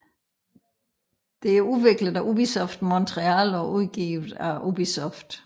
Det er udviklet af Ubisoft Montreal og udgivet af Ubisoft